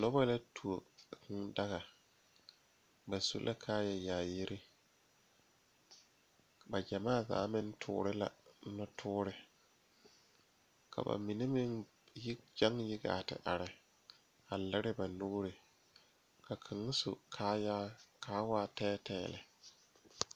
Nobɔ la tuo kūū daga ba su la kaayɛ yaayire ba gyamaa zaa meŋ toore la nɔwoore ka ba mine meŋ gyɛŋ yi gaa ti are a lire ba nuure ka kaŋa su kaayaa kaa waa tɛɛtɛɛ lɛ.